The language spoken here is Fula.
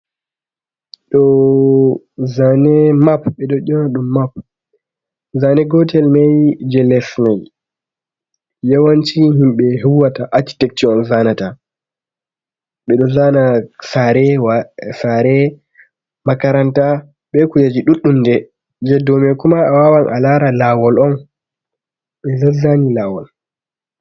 Ɗoo zane map, ɓeɗo yona ɗum map, zane gotel mai je les mai yawanci himɓe huwata akiteksho on zanata, ɓeɗo zana saare, makaranta, be kujeji duɗdum nde je dou maiku ma a wawan a lara lawol on , ɗeɗoz zani lawol.